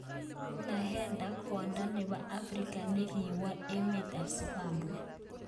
Nahenda, Kwondo nepo afrika nekiwal emer ap zimbabwe.